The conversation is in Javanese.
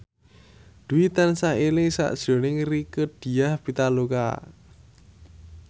Dwi tansah eling sakjroning Rieke Diah Pitaloka